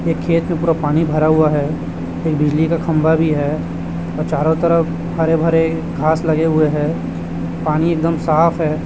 ये खेत में पूरा पानी भरा हुआ है एक बिजली का खंभा भी है और चारों तरफ हरे-भरे घास लगे हुए है पानी एकदम साफ हैं।